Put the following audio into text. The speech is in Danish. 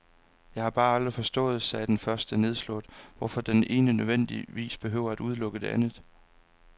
Jeg har bare aldrig forstået, sagde den første nedslået, hvorfor det ene nødvendigvis behøver at udelukke det andet.